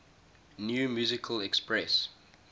new musical express